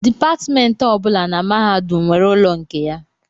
Dipatmentị ọ bụla na mahadum nwere ụlọ nke ya